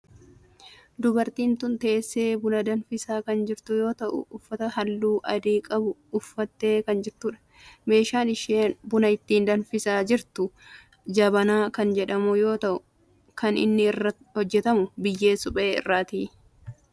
Dubartiin tun teessee buna danfisaa kan jirtu yoo ta'u uffata halluu adii qabu uffattee kan jirtudha. meeshaan isheen buna ittiin danfisaa jirtu jabanaa kan jedhamu yoo kan inni irraa hojjetamu biyyee suphee irrati.